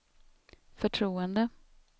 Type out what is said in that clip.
förtroende